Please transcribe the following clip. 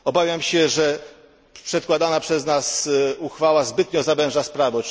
Obawiam się, że przedkładana przez nas uchwała zbytnio zawęża sprawę.